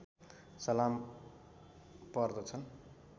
सलाम पर्दछन्